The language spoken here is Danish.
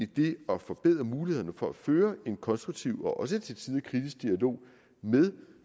det at forbedre mulighederne for at føre en konstruktiv og også til tider kritisk dialog med